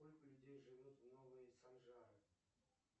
сколько людей живет в новые санжары